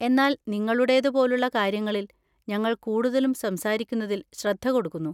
എന്നാൽ നിങ്ങളുടേത് പോലുള്ള കാര്യങ്ങളിൽ, ഞങ്ങൾ കൂടുതലും സംസാരിക്കുന്നതിൽ ശ്രദ്ധ കൊടുക്കുന്നു.